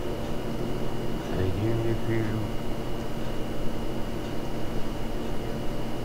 найди мне фильм